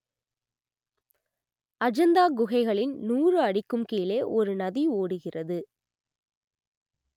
அஜந்தா குகைகளின் நூறு அடிக்கும் கீழே ஒரு நதி ஓடுகிறது